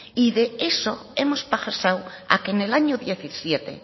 y de eso hemos pasado a que en el año dos mil diecisiete